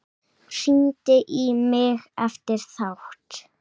Hringdi í mig eftir þátt.